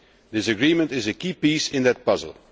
This agreement is a key piece in that puzzle.